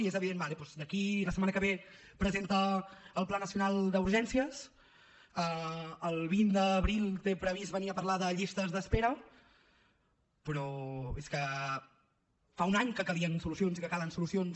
i és evident d’acord la setmana que ve presenta el pla nacional d’urgències el vint d’abril té previst venir a parlar de llistes d’espera però és que fa un any que calien solucions i que calen solucions